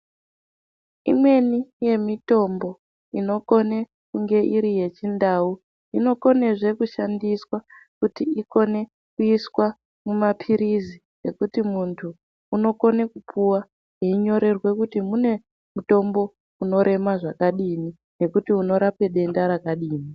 Imweni yemitombo inokone kunge iri yechindau inokonezve kushandiswa kuti ikone kuiswa mumapirizi ekuti muntu unokone kupuwa einyorerwa kuti mune mutombo unorema zvakadii nekuti unorape denda rakadini.